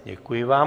Děkuji vám.